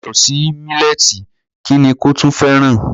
Yàtọ̀ sí mílẹ́ẹ̀tì kí ni kò tún fẹ́ràn?